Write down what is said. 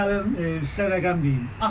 Məsələn, sizə rəqəm deyim.